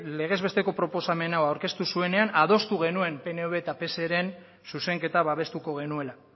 legez besteko proposamen hau aurkeztu zuenean adostu genuen pnv eta pseren zuzenketa babestuko genuela